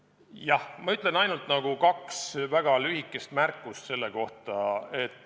Jah, ma ütlen ainult kaks väga lühikest märkust selle kohta.